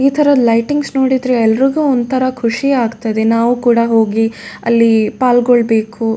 ಈ ತರ ಲೈಟಿಂಗ್ಸ್ ನೋಡಿದ್ರೆ ಎಲ್ರಿಗೂ ಒಂದ್ ತರ ಖುಷಿ ಆಗ್ತದೆ ನಾವು ಕೂಡ ಹೋಗಿ ಅಲ್ಲಿ ಪಾಲ್ಗೊಳ್ಬೇಕು.